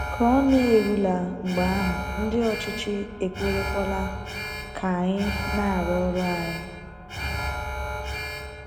Ka ọ na - erule mgbe ahụ ndị ọchịchị ekwerekwuola ka anyị na - arụ ọrụ anyị.